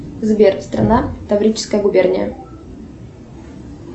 сбер страна таврическая губерния